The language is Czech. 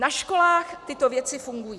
Na školách tyto věci fungují.